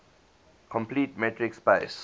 complete metric space